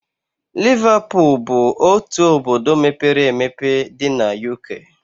Liverpool bụ otu obodo mepere emepe dị na UK